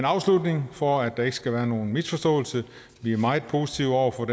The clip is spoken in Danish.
afslutning for at der ikke skal være nogen misforståelse vi er meget positive over for